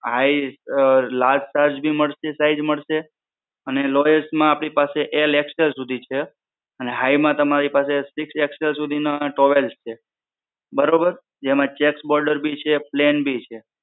high large size ભી મડસે size મડસે અને lowest માં આપની પાસે L, XL સુધી છે. અને high માં તમારી પાસે સિક્સ XL સુધીનો towel છે. બરોબર જેમાં checker border છે plane ભી છે.